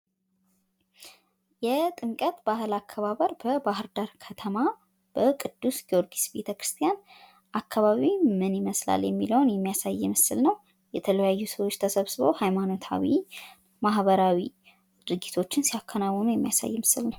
የጥምቀት በአል አከባበር በባህርዳር ከተማ በቅዱስ ጊዮርጊስ ቤተክርስቲያን አካባቢ ምን ይመስላል የሚለውን የሚያሳይ ምስል ነው። የተለያዩ ሰዎች ተሰብስበው ሃይማኖታዊ ማህበራዊ ድርቶችን ሲያከናውኑ የሚያሳይ ነው።